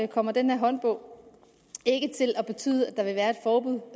kommer den her håndbog ikke til at betyde